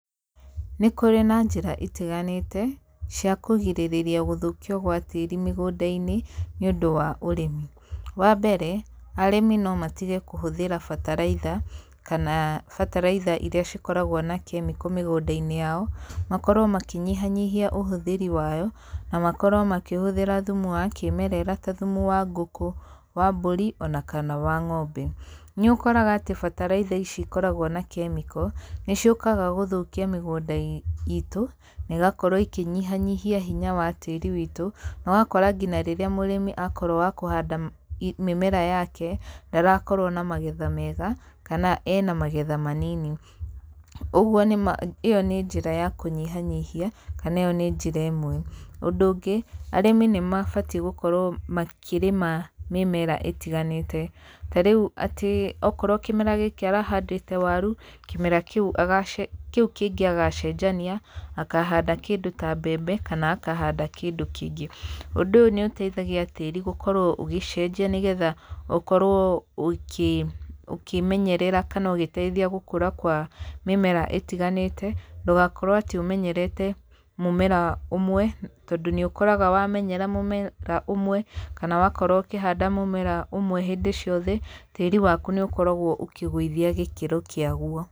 Nĩ kũrĩ na njĩra itiganĩte, cia kũgirĩrĩria gũthũkio gwa tĩĩri mĩgũnda-inĩ, nĩ ũndũ wa ũrĩmi. Wa mbere, arĩmi no matige kũhũthĩra bataraitha, kana bataraitha irĩa cikoragwo na kemiko mĩgũnda-inĩ yao, makorwo makĩnyihanyihia ũhũthĩri wa yo, na makorwo makĩhũthĩra thumu wa kĩmerera ta thumu ngũkũ, wa mbũri, ona kana wa ng'ombe. Nĩ ũkoraga atĩ bataraitha ici ikoragwo na kemiko, nĩ ciũkaga gũthũkia mĩgũnda iitũ, na ĩgakorwo ĩkĩnyihanyihia hinya wa tĩĩri witũ. Na ũgakora nginya rĩrĩa mũrĩmi akorwo wa kũhanda mĩmera yake, ndarakorwo na magetha mega, kana ena magetha manini. Ũguo ĩyo nĩ njĩra ya kũnyihanyihia, kana ĩyo nĩ njĩra ĩmwe. Ũndũ ũngĩ, arĩmi nĩ mabatiĩ gũkorwo makĩrĩma mĩmera ĩtiganĩte. Ta rĩu atĩ okorwo kĩmera gĩkĩ arahandĩte waru, kĩmera kĩu agacenjia kĩu kĩngĩ agacenjania, akahanda kĩndũ ta mbembe, kana akahanda kĩndũ kĩngĩ. Ũndũ ũyũ nĩ ũteithagia tĩĩri gũkorwo ũgĩcenjia nĩgetha ũkorwo ũkĩmenyerera kana ũgĩteithia gũkũra kwa mĩmera ĩtiganĩte, ndũgakorwo atĩ ũmenyerete mũmera ũmwe, tondũ nĩ ũkoraga wamenyera mũmera ũmwe, kana wakorwo ũkĩhanda mũmera ũmwe hĩndĩ ciothe, tĩri waku nĩ ũkoragwo ũkĩgũithia gĩkĩro kĩa guo.